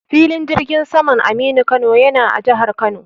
Filin jirgin saman Aminu Kano yana a jahar Kano.